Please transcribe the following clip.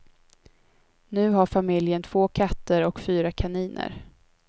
Nu har familjen två katter och fyra kaniner.